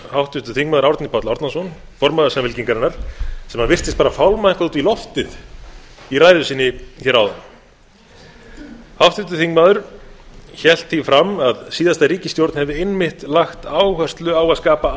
háttvirtur þingmaður árni páll árnason formaður samfylkingarinnar sem virtist bara fálma eitthvað út í loftið í ræðu sinni hér áðan háttvirtur þingmaður hélt því fram að síðasta ríkisstjórn hefði einmitt lagt áherslu á að skapa